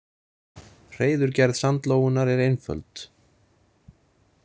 Hreiðurgerð sandlóunnar er einföld.